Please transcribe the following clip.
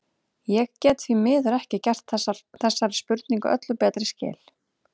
Ég get því miður ekki gert þessari spurningu öllu betri skil.